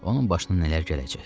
Onun başına nələr gələcək?